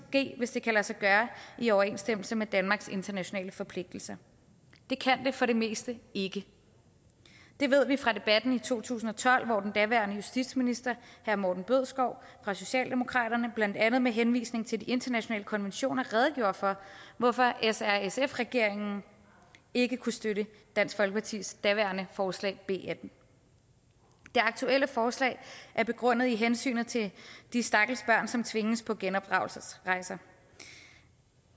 ske hvis det kan lade sig gøre i overensstemmelse med danmarks internationale forpligtelser det kan det for det meste ikke det ved vi fra debatten i to tusind og tolv hvor den daværende justitsminister herre morten bødskov fra socialdemokratiet blandt andet med henvisning til de internationale konventioner redegjorde for hvorfor srsf regeringen ikke kunne støtte dansk folkepartis daværende forslag b attende det aktuelle forslag er begrundet i hensynet til de stakkels børn som tvinges på genopdragelsesrejser